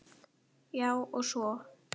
Já, og svo.